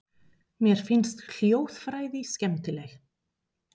Mér finnst hljóðfræði skemmtileg.